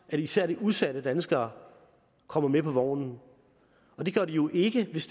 at især de udsatte danskere kommer med på vognen og det gør de jo ikke hvis